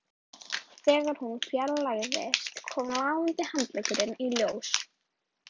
Þegar hún fjarlægðist kom lafandi handleggurinn í ljós